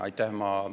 Aitäh!